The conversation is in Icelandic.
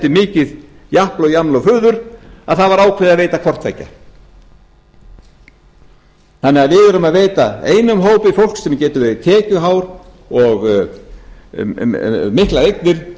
mikið japl og jaml og fuður að það var ákveðið að veita hvort tveggja við veitum einum hópi fólks sem getur verið tekjuhár og með miklar eignir